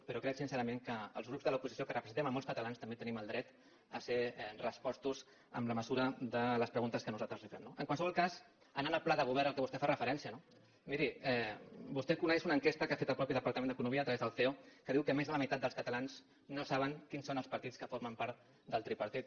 però crec sincerament que els grups de l’oposició que representem molts catalans també tenim el dret de ser respostos en la mesura de les preguntes que nosaltres li fem no en qualsevol cas anant al pla de govern al qual vostè fa referència miri vostè coneix una enquesta que ha fet el mateix departament d’economia a través del ceo que diu que més de la meitat dels catalans no saben quins són els partits que formen part del tripartit